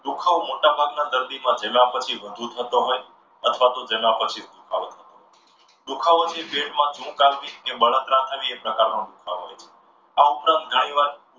દુખાવો મોટાભાગના દર્દીમાં પહેલા પછી વધુ થતો હોય અથવા તો જમ્યા પછી દુખાવો દુખાવો જે છે એ પેટમાં શું ખાવાથી બળતરા થવી પ્રકારનો દુખાવો હોય છે. આ ઉપરાંત ઘણીવાર